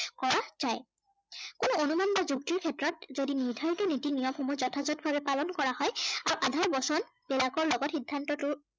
সেই অনুমান বা যুক্তিৰ ক্ষেত্ৰত যদি নিৰ্ধাৰিত নীতি নিয়ম সমূহ যথাযথ ভাৱে পালন কৰা হয় আৰু আধাৰ বচন বিলাকৰ লগত সিদ্ধান্তটো